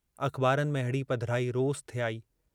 अख़बारुनि में अहिड़ी पधिराई रोज़ थे आई।